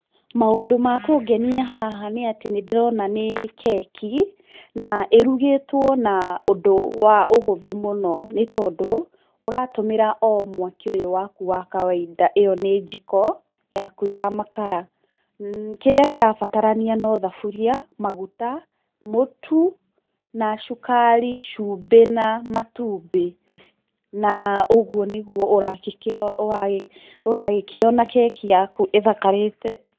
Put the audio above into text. Maũndũ ma kũngenia haha nĩatĩ nĩndĩrona nĩ keki, na ĩrugĩtwo na ũndũ wa ũhũthũ mũno nĩtondũ, úratũmĩra o mwaki ũyũ waku wa kawainda, ĩyo nĩ njiko yaku ya makara, kĩrĩa kĩrabatarania no thaburia, maguta, mũtu na cukari, cumbĩ na matumbĩ, na ũguo nĩguo ũrakĩ ũra ũragĩkĩona keki yaku ĩthakarĩte.